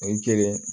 O ye kelen